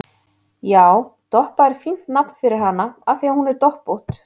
Já, Doppa er fínt nafn fyrir hana af því að hún er doppótt